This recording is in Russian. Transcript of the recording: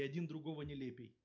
и один другого нелепей